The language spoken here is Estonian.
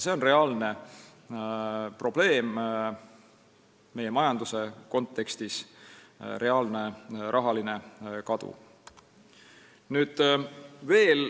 See on aga reaalne probleem meie majanduse kontekstis, reaalne rahaline kadu.